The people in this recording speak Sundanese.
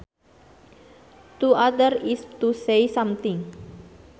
To utter is to say something